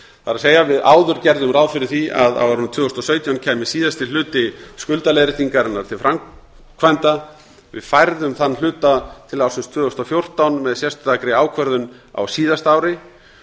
það er við áður gerðum ráð fyrir því að á árinu tvö þúsund og sautján kæmi síðasti hluti skuldaleiðréttingarinnar til framkvæmda við færðum þann hluta til ársins tvö þúsund og fjórtán með sérstakri ákvörðun á síðasta ári